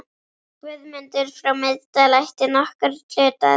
Guðmundur frá Miðdal ætti nokkurn hlut að.